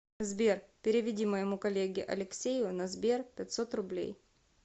сбер переведи моему коллеге алексею на сбер пятьсот рублей